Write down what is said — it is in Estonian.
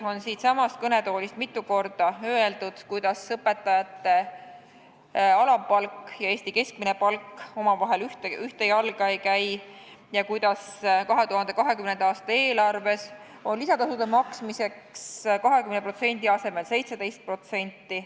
Siitsamast kõnetoolist on mitu korda öeldud numbreid selle kohta, et õpetajate alampalk ja Eesti keskmine palk ei käi ühte jalga ja et 2020. aasta eelarves on alampalga juurde lisatasude maksmiseks 20% asemel 17%.